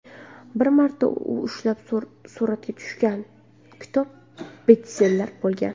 Bir marta u ushlab suratga tushgan kitob bestseller bo‘lgan.